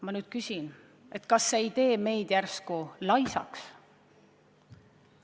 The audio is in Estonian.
Ma nüüd küsin, kas see ei tee meid järsku laisaks.